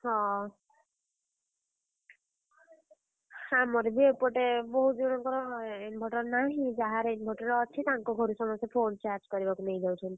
ହଁ, ଆମର ବି ଏପଟେ ବହୁତ୍ ଜଣଙ୍କର inverter ନାହିଁ। ଯାହାର inverter ଅଛି ତାଙ୍କ ଘରୁ ସମସ୍ତେ phone charge କରିବାକୁ ନେଇଯାଉଛନ୍ତି।